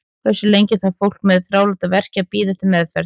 Hversu lengi þarf fólk með þráláta verki að bíða eftir meðferð?